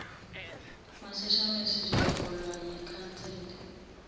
masishane sizoholwa yikhanseli